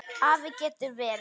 Afl getur verið